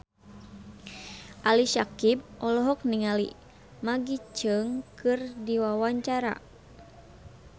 Ali Syakieb olohok ningali Maggie Cheung keur diwawancara